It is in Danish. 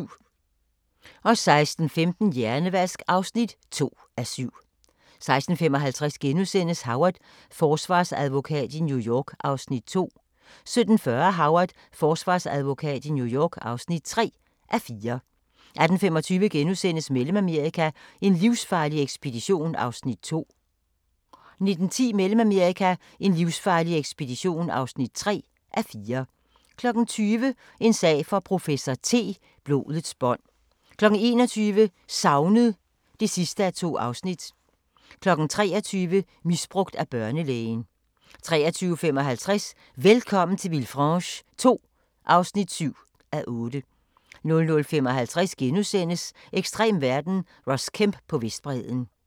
16:15: Hjernevask (2:7) 16:55: Howard – forsvarsadvokat i New York (2:4)* 17:40: Howard – forsvarsadvokat i New York (3:4) 18:25: Mellemamerika: en livsfarlig ekspedition (2:4)* 19:10: Mellemamerika: en livsfarlig ekspedition (3:4) 20:00: En sag for professor T: Blodets bånd 21:00: Savnet (2:2) 23:00: Misbrugt af børnelægen 23:55: Velkommen til Villefranche II (7:8) 00:55: Ekstrem verden – Ross Kemp på Vestbredden *